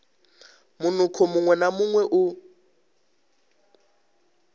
munukho muṅwe na muṅwe u